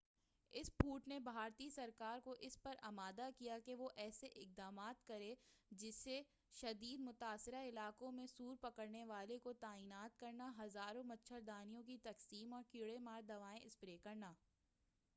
اس پھوٹ نے بھارتی سرکار کو اس پر آمادہ کیا کہ وہ ایسے اقدامات کرے جیسے شدید متاثرہ علاقوں میں سور پکڑنے والوں کو تعینات کرنا ہزاروں مچھردانیوں کی تقسیم اور کیڑے مار دوائیں اسپرے کرنا